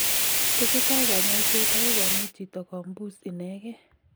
Tesetai kanyoiset akoi komuch chito kombus inegee.